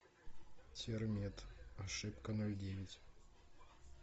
термет ошибка ноль девять